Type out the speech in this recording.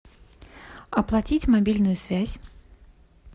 оплатить мобильную связь